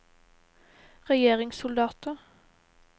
regjeringssoldater